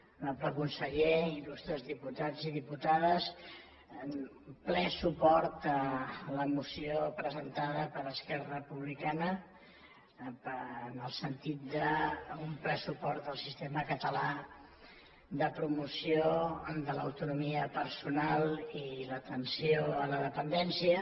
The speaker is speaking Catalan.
honorable conseller il·lustres diputats i diputades ple suport a la moció presentada per esquerra republicana en el sentit d’un ple suport al sistema català de promoció de l’autonomia personal i l’atenció a la dependència